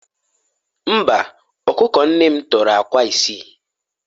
Mba, ọkụkọ nne m tọrọ akwa isii